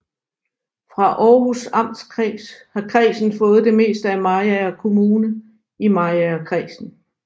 Fra Århus Amtskreds har kredsen fået det meste af Mariager Kommune i Mariagerkredsen